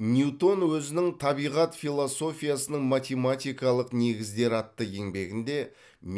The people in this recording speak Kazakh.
ньютон өзінің табиғат философиясының математикалық негіздері атты еңбегінде